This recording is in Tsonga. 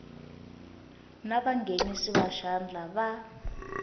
na vanghenisi va xandla va